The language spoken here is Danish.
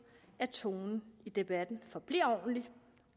at tonen i debatten forbliver ordentligt